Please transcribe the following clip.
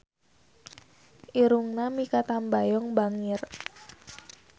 Irungna Mikha Tambayong bangir